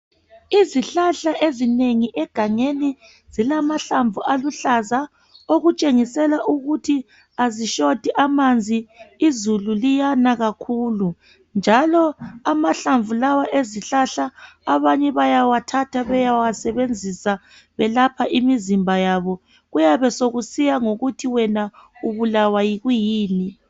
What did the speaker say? Izihlahla ezinengi egangeni zilamahlamvu aluhlaza okutshengisela ukuthi azishoti mahlamvu izulu liyana kakhulu njalo amahlamvu lawa ezihlahla abanye bayawathatha bayewasebenzisa belapha imizimba yabo kuyabe sokusiya ngokuthi wena ubulawa yikuyini.